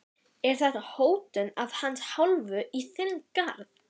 Er þetta hótun af hans hálfu í þinn garð?